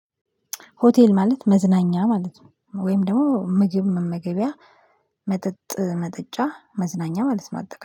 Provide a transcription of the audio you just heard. ሆቴል ማለት መዝናኛ ማለት ነው ወይም ደግሞ ምግብ መመገቢያ መጠጥ መጠጫ መዝናኛ ማለት ነው። አጠቃላይ